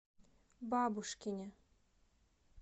бабушкине